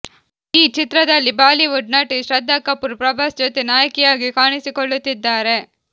ಈ ಚಿತ್ರದಲ್ಲಿ ಬಾಲಿವುಡ್ ನಟಿ ಶ್ರದ್ಧಾ ಕಪೂರ್ ಪ್ರಭಾಸ್ ಜೊತೆ ನಾಯಕಿಯಾಗಿ ಕಾಣಿಸಿಕೊಳ್ಳುತ್ತಿದ್ದಾರೆ